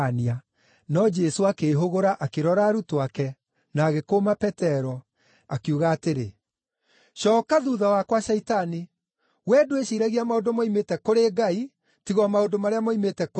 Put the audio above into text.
No Jesũ akĩĩhũgũra akĩrora arutwo ake, na agĩkũũma Petero, akiuga atĩrĩ, “Cooka thuutha wakwa, Shaitani! Wee ndwĩciiragia maũndũ moimĩte kũrĩ Ngai, tiga o maũndũ marĩa moimĩte kũrĩ andũ.”